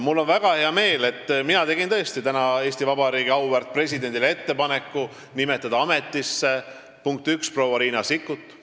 Mul on väga hea meel, et mina tegin täna Eesti Vabariigi auväärt presidendile ettepaneku nimetada ametisse, punkt üks, proua Riina Sikkuti.